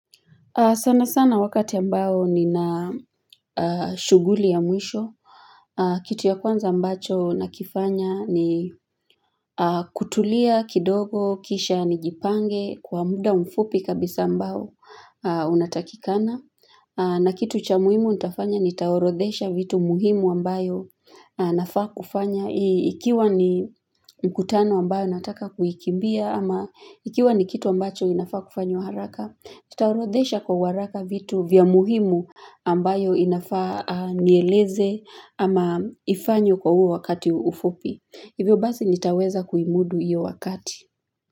Sana sana wakati ambao nina shughuli ya mwisho, kitu ya kwanza ambacho nakifanya ni kutulia kidogo, kisha nijipange, kwa muda mfupi kabisa ambao unatakikana. Na kitu cha muhimu nitafanya nitaorodhesha vitu muhimu ambayo nafaa kufanya. Ikiwa ni mkutano ambayo nataka kuikimbia ama ikiwa ni kitu ambacho inafaa kufanywa haraka. Nitaorodhesha kwa uharaka vitu vya muhimu ambayo inafaa anieleze ama ifanywe kwa huo wakati ufupi. Hivyo basi nitaweza kuimudu iyo wakati.